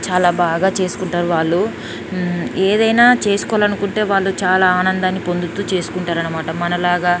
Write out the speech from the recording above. చాల బాగా చేసుకుంటారు.వాళ్ళు ఉహ్ ఏదైనా చేసుకోవాలనుకుంటే వాలు చాల అనన్ది పొందుతూ చేసుకుంటారు అనమాట.మనలాగా--